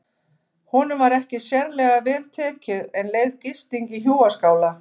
Honum var ekki sérlega vel tekið en leyfð gisting í hjúaskála.